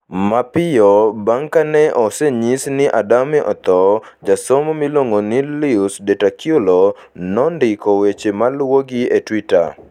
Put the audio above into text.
Mapiyo bang ' kane osenyis ni Adame otho, jasomo miluongo ni Luis De Tlacuilo nondiko weche maluwogi e Twitter: